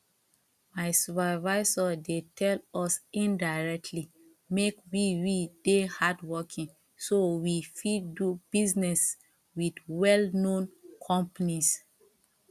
my supervisor dey tell us indirectly make we we dey hardworking so we fit dey do business with well known companies